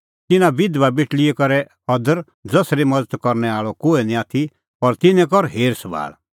तिन्नां बिधबा बेटल़ीओ करै अदर ज़सरी मज़त करनै आल़अ कोहै निं आथी और तिन्नें कर हेरसभाल़